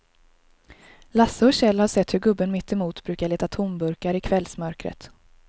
Lasse och Kjell har sett hur gubben mittemot brukar leta tomburkar i kvällsmörkret.